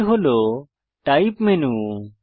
এটি হল type menu